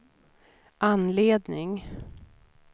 anledning